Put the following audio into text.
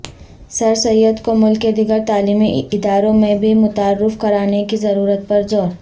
سرسید کو ملک کے دیگر تعلیمی اداروں میں بھی متعارف کرانے کی ضرورت پر زور